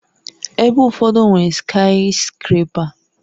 Ebe ụfọdụ nwere skayiskrepa